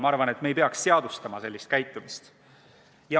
Ma arvan, et me ei peaks sellist käitumist seadustama.